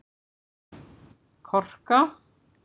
Korka